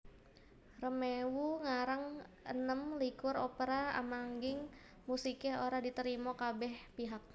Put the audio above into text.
Rameau ngarang enem likur Opera ananging musiké ora diterima kabéh pihak